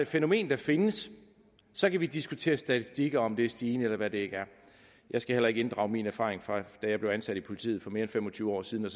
fænomen der findes så kan vi diskutere statistikker og om det er stigende eller hvad det er jeg skal heller ikke inddrage mine erfaringer fra jeg blev ansat i politiet for mere end fem og tyve år siden